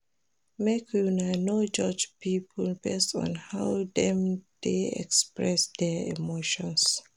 Make una no judge pipo based on how dem dey express their emotions.